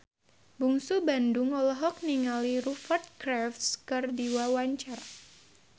Bungsu Bandung olohok ningali Rupert Graves keur diwawancara